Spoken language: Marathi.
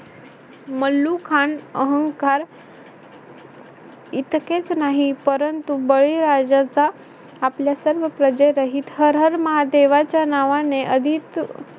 मल्लुखान अहंकार इतकेच नाही परंतु बळीराजाचा आपल्या सर्व प्रजेरहित हर हर महादेवाच्या नावाने अधिक